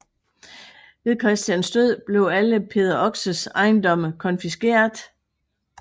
Ved Christians død blev alle Peder Oxes ejendomme konfiskeret